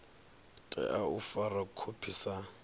tea u fara khophi sa